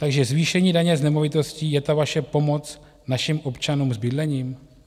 Takže zvýšení daně z nemovitosti je ta vaše pomoc našim občanům s bydlením?